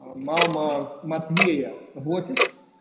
мама матвея в офис